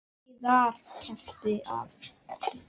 Og víðar kreppti að.